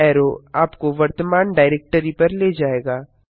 up arrow आपको वर्तमान directory पर ले जायेगा